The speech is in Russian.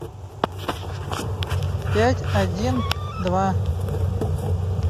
пять один два